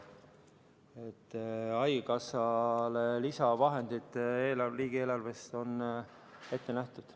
Nii et haigekassale on lisavahendid riigieelarves ette nähtud.